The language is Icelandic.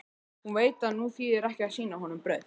Hún veit að nú þýðir ekki að sýna honum brauð.